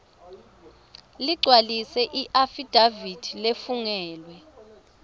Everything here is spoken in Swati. ligcwalise iafidavithi lefungelwe